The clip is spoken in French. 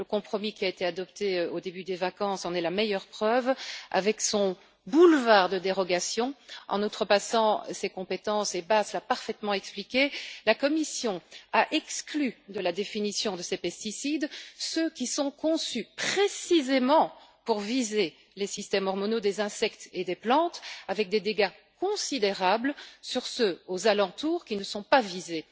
Le compromis adopté au début des vacances en est la meilleure preuve, avec son boulevard de dérogations. En outrepassant ses compétences, et Bas l'a parfaitement expliqué, la Commission a exclu de la définition de ses pesticides ceux qui sont conçus précisément pour viser les systèmes hormonaux des insectes et des plantes avec des dégâts considérables sur ceux aux alentours qui ne sont pas visés.